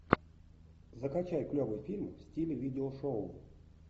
закачай клевый фильм в стиле видео шоу